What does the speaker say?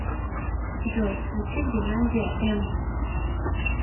джой включи геннадия эм